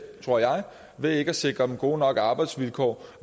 tror jeg ved ikke at sikre dem gode nok arbejdsvilkår